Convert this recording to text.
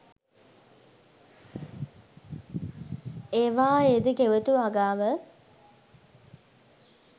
ඒවායේ ද ගෙවතු වගාව